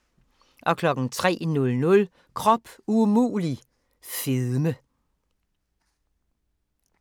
03:00: Krop umulig – fedme